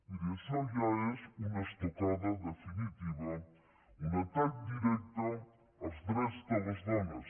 miri això ja és una estocada definitiva un atac directe als drets de les dones